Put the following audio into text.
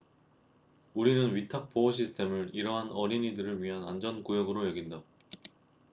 우리는 위탁 보호 시스템을 이러한 어린이들을 위한 안전 구역으로 여긴다